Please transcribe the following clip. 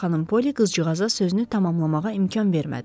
Xanım Polly qızcığaza sözünü tamamlamağa imkan vermədi.